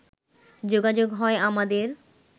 যোগাযোগ হয় আমাদের